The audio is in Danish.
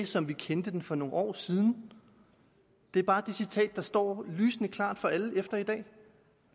som vi kendte den for nogle år siden det er bare det citat der står lysende klart for alle efter i dag